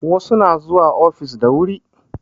Wasu na zuwa ofis da wuri